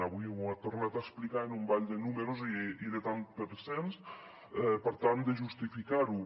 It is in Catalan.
avui ho ha tornat a explicar amb un ball de números i de tants per cents per tal de justificar ho